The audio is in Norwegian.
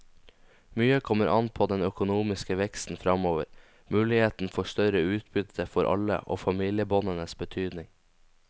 Mye kommer an på den økonomiske veksten fremover, muligheten for større utbytte for alle og familiebåndenes betydning.